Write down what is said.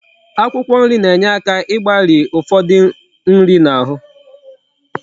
Akwụkwọ nri na enye aka igbari ufodu nri na ahu